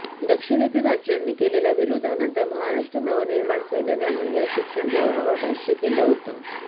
दक्षिणेतील राज्यांनी केलेल्या विरोधानंतर महाराष्ट्र नवनिर्माण सेनेनंही या शिक्षण धोरणावर भाष्य केलं होतं